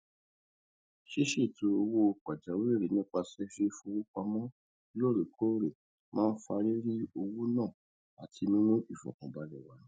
ṣíṣètò owó pàjáwìrì nípasẹ ìfowópamọ loorekoore máa n fa riri owo na àti mimu ìfọkànbalẹ wá